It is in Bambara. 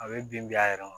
A bɛ bin a yɛrɛ ma